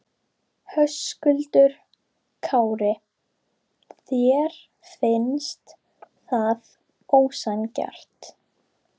Höskuldur Kári: Þér finnst það ósanngjarnt?